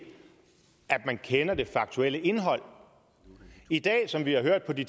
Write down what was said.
man kender det faktuelle indhold i dag som vi har hørt på de